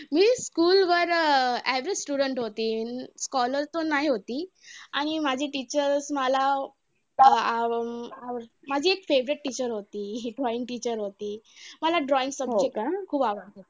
School वर अं as a student होती. scholar पण नाय होती आणि माझी teacher मला आव अं माझी एक favourite teacher होती, drawing teacher होती. मला drawing subject खूप आवडायचा.